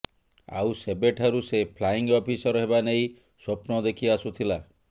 ଆଉ ସେବେଠାରୁ ସେ ଫ୍ଲାଇଙ୍ଗ୍ ଅଫିସର ହେବା ନେଇ ସ୍ୱପ୍ନ ଦେଖିଆସୁଥିଲା